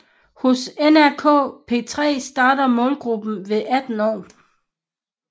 Hos NRK P3 starter målgruppen ved 18 år